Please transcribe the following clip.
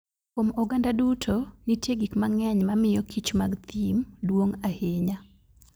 Kuom oganda duto, nitie gik mang'eny mamiyo kich mag thim duong' ahinya.